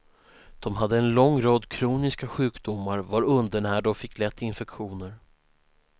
De hade en lång rad kroniska sjukdomar, var undernärda och fick lätt infektioner.